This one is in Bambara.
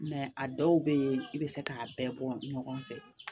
a dɔw bɛ yen i bɛ se k'a bɛɛ bɔ ɲɔgɔn fɛ